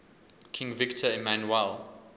king victor emmanuel